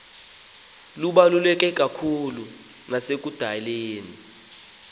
lubaluleke kakhulu nasekudaleni